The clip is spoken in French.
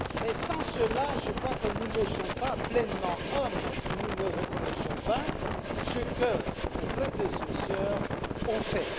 Toutefois, je crois que nous ne sommes pas pleinement hommes si nous ne reconnaissons pas ce que nos prédécesseurs ont fait.